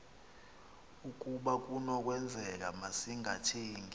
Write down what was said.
ukaba kunokwenzeka masingathengi